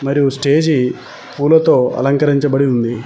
మరియు స్టేజి పూలతో అలంకరించబడి ఉంది.